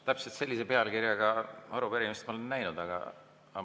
Täpselt sellise pealkirjaga arupärimist ma olen juba näinud.